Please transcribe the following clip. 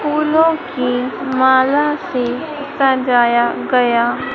फूलों की माला से सजाया गया--